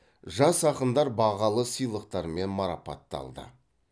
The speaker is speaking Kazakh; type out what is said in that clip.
жас ақындар бағалы сыйлықтармен марапатталды